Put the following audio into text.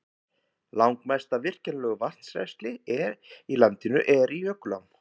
Langmest af virkjanlegu vatnsrennsli í landinu er í jökulám.